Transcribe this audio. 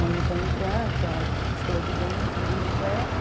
Aí ele foi entrando com a escova de dente, o livro, a cueca.